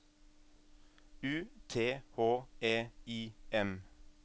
U T H E I M